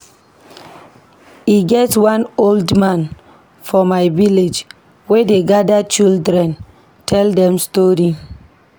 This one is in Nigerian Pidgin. E get one old man for me village wey dey gada children tell dem tori.